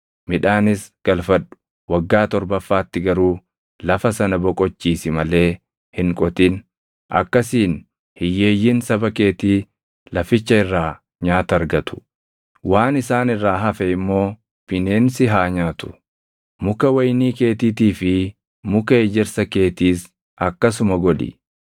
waggaa torbaffaatti garuu lafa sana boqochiisi malee hin qotin. Akkasiin hiyyeeyyiin saba keetii laficha irraa nyaata argatu; waan isaan irraa hafe immoo bineensi haa nyaatu. Muka wayinii keetiitii fi muka ejersa keetiis akkasuma godhi.